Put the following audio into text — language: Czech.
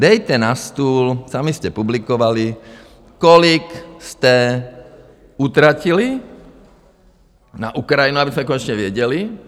Dejte na stůl, sami jste publikovali, kolik jste utratili na Ukrajinu, abychom konečně věděli.